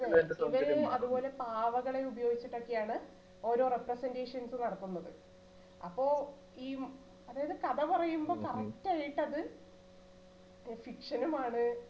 അതെ ഇത് അതുപോലെ പാവകളെ ഉപയോഗിച്ചിട്ടൊക്കെയാണ് ഓരോ representations നു നടത്തുന്നത് അപ്പൊ ഈ അതായത് കഥ പറയുമ്പോ correct ആയിട്ട് അത് fiction ഉംആണ്